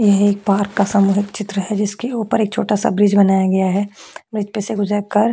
यह एक पार्क का सामुहिक चित्र है जिसके ऊपर एक छोटा-सा ब्रिज बनाया गया है ब्रिज पे से गुजरकर--